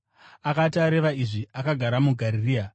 Akati areva izvi, akagara muGarirea.